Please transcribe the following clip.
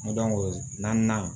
N dɔnko naaninan